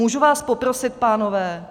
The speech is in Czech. Můžu vás poprosit, pánové?